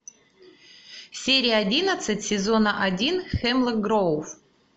серия одиннадцать сезона один хемлок гроув